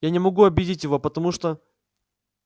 я не могу обидеть его потому что